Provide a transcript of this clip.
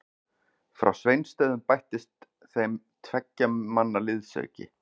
Frá Sveinsstöðum bættist þeim tveggja manna liðsauki.